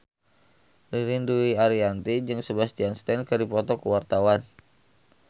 Ririn Dwi Ariyanti jeung Sebastian Stan keur dipoto ku wartawan